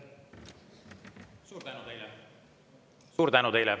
Suur tänu teile!